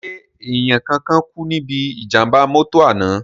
Ṣé èèyàn kankan kú níbí ìjàm̀bá mọ́tọ̀ àná?